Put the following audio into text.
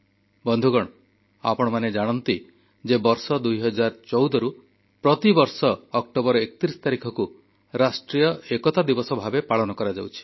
ବନ୍ଧୁଗଣ ଆପଣମାନେ ଜାଣନ୍ତି ଯେ ବର୍ଷ 2014ରୁ ପ୍ରତିବର୍ଷ ଅକ୍ଟୋବର 31 ତାରିଖକୁ ରାଷ୍ଟ୍ରୀୟ ଏକତା ଦିବସ ଭାବେ ପାଳନ କରାଯାଉଛି